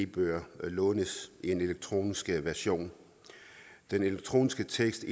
bøger lånes i en elektronisk version den elektroniske tekst